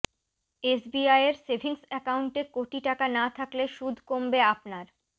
এসবিআইয়ের savings অ্যাকাউন্টে কোটি টাকা না থাকলে সুদ কমবে আপনার